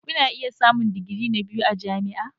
Kuna iya samun digiri na biyu a jami'a.